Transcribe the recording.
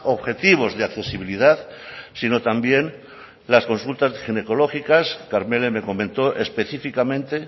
objetivos de accesibilidad sino también las consultas ginecológicas karmele me comentó específicamente